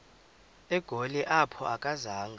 egoli apho akazanga